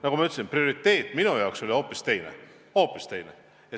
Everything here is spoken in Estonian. Nagu ma ütlesin, prioriteet minu jaoks oli hoopis teine.